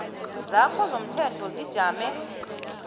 zakho zomthelo zijame